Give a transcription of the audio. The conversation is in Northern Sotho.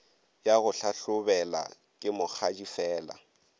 ya go hlahlobela ke mokgadifela